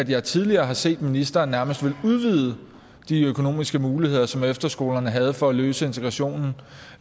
jeg tidligere har set at ministeren nærmest ville udvide de økonomiske muligheder som efterskolerne havde for at løse integrationen